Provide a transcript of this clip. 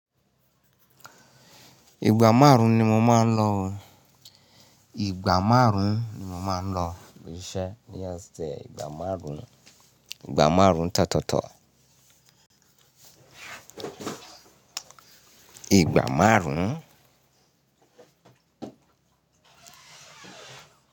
Ìgbà márùn-ún ni mo máa ń lọ. Ìgbà márùn-ún ni mo máa ń lọ iṣẹ́ ní ọ̀sẹ̀, ìgbà márùn-ún, ìgbà márùn-ún tọtọ. Ìgbà márùn-ún?